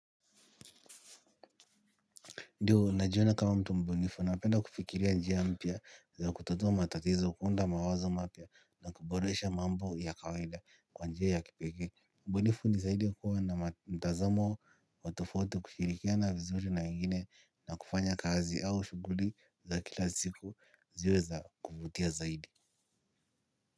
Ndio, najiona kama mtu mbunifu napenda kufikiria njia mpya za kutatua matatizo kuhnda mawazo mapya na kuboresha mambo ya kawaida, kwa njia ya kipekee. Mbunifu ni zaidi kuwa na mtazamo wa tofauti, kushirikina vizuri na wengine na kufanya kazi au shughuli za kila siku ziwe za kuvutia zaidi.